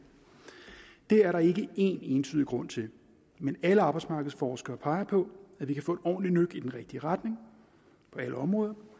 det er der ikke én entydig grund til men alle arbejdsmarkedsforskere peger på at vi kan få et ordentligt nøk i den rigtige retning på alle områder